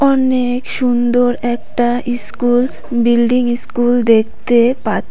অনেক সুন্দর একটা ইস্কুল বিল্ডিং ইস্কুল দেখতে পা--